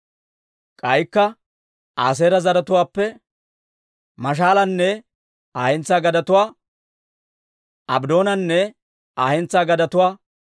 K'aykka Aaseera zaratuwaappe Maashaalanne Aa hentsaa gadetuwaa, Abddoonanne Aa hentsaa gadetuwaa,